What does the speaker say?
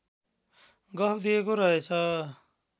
गफ दिएको रहेछ